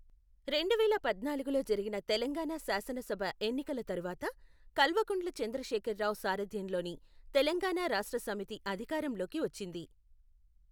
రెండువేల పద్నాలుగులో జరిగిన తెలంగాణ శాసనసభ ఎన్నికల తరువాత, కల్వకుంట్ల చంద్రశేఖర్ రావు సారథ్యంలోని తెలంగాణ రాష్ట్ర సమితి అధికారంలోకి వచ్చింది.